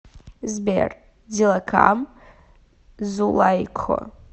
сбер дилакам зулайкхо